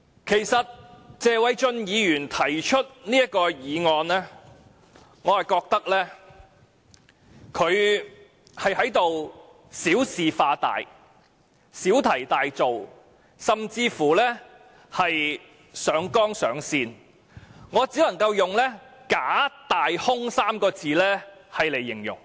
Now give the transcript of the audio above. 對於謝偉俊議員提出這項議案，我認為他是小事化大、小題大做，甚至是上綱上線，我只能用"假大空"這3個字來形容。